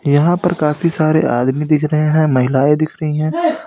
यहां पर काफी सारे आदमी दिख रहे हैं महिलाएं दिख रही हैं।